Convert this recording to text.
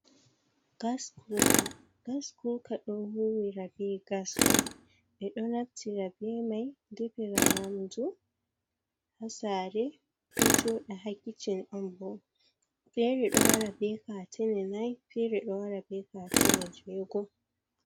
Gas kuka, gas kuka don huwira be gas on, ɓe do naftira be mai defira nyamdu ha sare do jooɗa ha kicin onbo fere do wara be katane nai fere do wara be katene jeego.